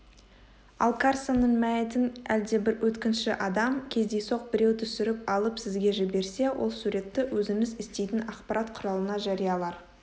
ал карсонның мәйітін әлдебір өткінші адам кездейсоқ біреу түсіріп алып сізге жіберсе ол суретті өзіңіз істейтін ақпарат құралына жариялар